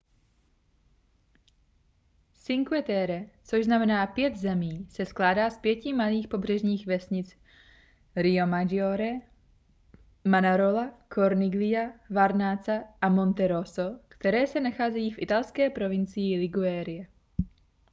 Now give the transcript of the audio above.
cinque terre což znamená pět zemí se skládá z pěti malých pobřežních vesnic riomaggiore manarola corniglia vernazza a monterosso které se nacházejí v italské provincii ligurie